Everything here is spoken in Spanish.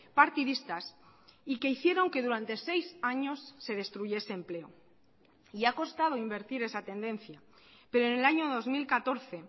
partidistas y que hicieron que durante seis años se destruyese empleo y ha costado invertir esa tendencia pero en el año dos mil catorce